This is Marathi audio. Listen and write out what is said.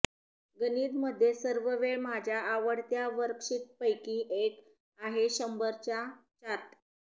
गणित मध्ये सर्व वेळ माझ्या आवडत्या वर्कशीटपैकी एक आहे शंभर च्या चार्ट